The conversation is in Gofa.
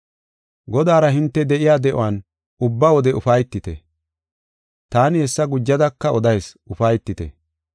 Godaara hinte de7iya de7uwan ubba wode ufaytite. Taani hessa gujadaka odayis; ufaytite.